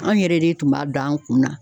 Anw yɛrɛ de tun b'a dɔn an kun na